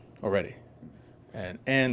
og veru er